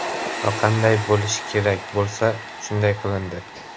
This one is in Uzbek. va qanday bo‘lishi kerak bo‘lsa, shunday qilindi.